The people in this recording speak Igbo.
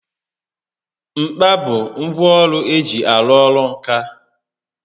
Mkpa bụ ngwá ọrụ eji arụ ọrụ ǹkà